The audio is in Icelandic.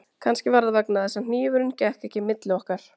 Tegundir og staða orðasambanda